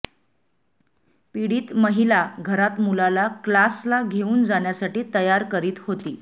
पीडित महिला घरात मुलाला क्लासला घेऊन जाण्यासाठी तयार करीत होती